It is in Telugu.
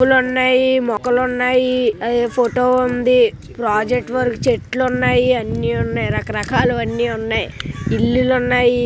పువ్వులు ఉన్నాయి మొక్కలున్నాయి ఫోటో ఉంది ప్రాజెక్ట్ వర్క్ చెట్లున్నాయి అన్ని ఉన్నాయి రకరకాలువి అన్ని ఉన్నాయి. ఇల్లులు ఉన్నాయి --